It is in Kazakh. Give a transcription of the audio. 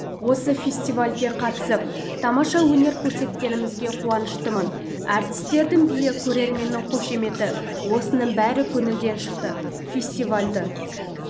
осы фестивальге қатысып тамаша өнер көрсеткенімізге қуаныштымын әртістердің биі көрерменнің қошеметі осының бәрі көңілден шықты фестивальді